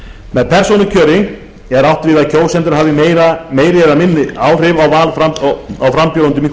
með persónukjöri er átt við að kjósendur hafi meiri eða minni áhrif á val á frambjóðendum í